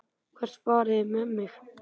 Hvert farið þið með mig?